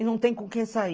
E não tem com quem sair.